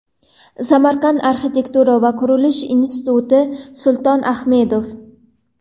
Samarqand arxitektura va qurilish instituti Sulton Ahmedov;.